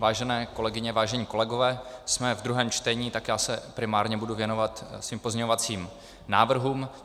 Vážené kolegyně, vážení kolegové, jsme ve druhém čtení, tak já se primárně budu věnovat svým pozměňovacím návrhům.